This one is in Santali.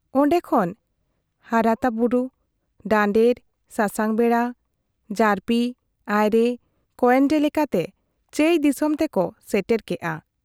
ᱚᱱᱰᱮ ᱠᱷᱚᱱ ᱦᱟᱨᱟᱛᱟ ᱵᱩᱨᱩ ᱰᱟᱱᱰᱮᱨ, ᱥᱟᱥᱟᱝ ᱵᱮᱰᱟ, ᱡᱟᱹᱨᱯᱤ, ᱟᱭᱨᱮ, ᱠᱚᱭᱮᱱᱰᱮ ᱞᱮᱠᱟᱛᱮ ᱪᱟᱹᱭ ᱫᱤᱥᱚᱢ ᱛᱮᱠᱚ ᱥᱮᱴᱮᱨ ᱠᱮᱜ ᱟ ᱾